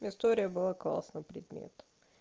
история была классно предмет